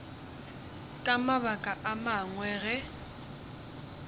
ka mabaka a mangwe ge